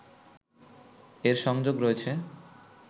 এর সংযোগ রয়েছে